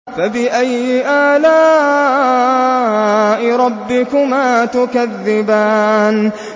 فَبِأَيِّ آلَاءِ رَبِّكُمَا تُكَذِّبَانِ